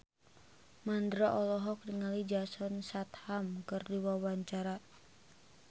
Mandra olohok ningali Jason Statham keur diwawancara